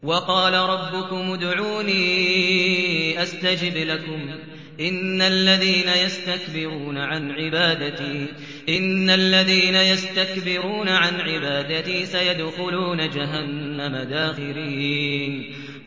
وَقَالَ رَبُّكُمُ ادْعُونِي أَسْتَجِبْ لَكُمْ ۚ إِنَّ الَّذِينَ يَسْتَكْبِرُونَ عَنْ عِبَادَتِي سَيَدْخُلُونَ جَهَنَّمَ دَاخِرِينَ